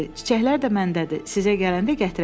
Çiçəklər də məndədir, sizə gələndə gətirəcəm.